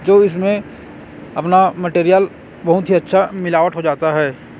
जो इसमें अपना मटेरियल बहुत ही अच्छा मिलावट हो जाता है।